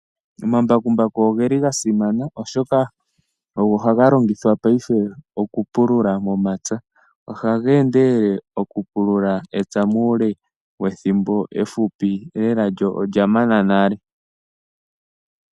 Omambakumbaku ogeli gasimana. Oshoka ogo haga longithwa paife oku pulula momapya. Ohaga endelele oku pulula epya muule wethimbo efupi lela lyo olya mana nale.